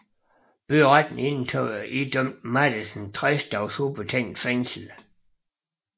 Byretten idømte Mathiesen 60 dages ubetinget fængsel